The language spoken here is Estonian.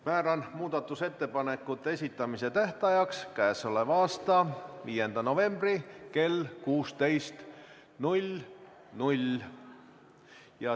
Määran muudatusettepanekute esitamise tähtajaks k.a 5. novembri kell 16.